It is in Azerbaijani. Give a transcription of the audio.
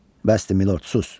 Bəsdir, Milord, sus!